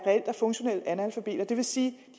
funktionelle analfabeter det vil sige